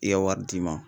I ye wari d'i ma